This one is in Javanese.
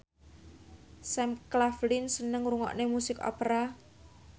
Sam Claflin seneng ngrungokne musik opera